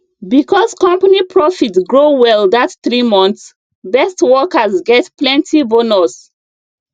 because company profit grow well that three months best workers get plenty bonus